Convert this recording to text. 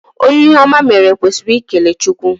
Onye ihe oma meere kwesịrị ikele Chukwu